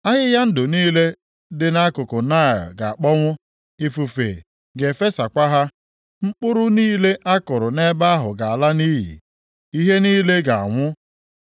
Ahịhịa ndụ niile dị nʼakụkụ Naịl ga-akpọnwụ, ifufe ga-efesakwa ha. Mkpụrụ niile a kụrụ nʼebe ahụ ga-ala nʼiyi, ihe niile ga-anwụ.